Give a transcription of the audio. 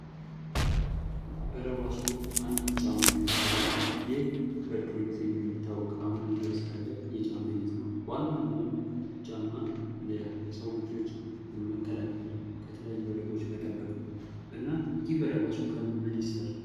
በረባሶ አንድ የጫማ ዓይነት ሲሆን ይህ በድሮ ግዜም የሚታወቅ አሁንም ድረስ ያለ የጫማ አይነት ነው። ዋና አላማውም ለሰው ልጆች መከላከል ከተለያዩ አደጋዎች መጠበቅ ነው። እና እስኪ በረባሶ ከምን ይሰራል?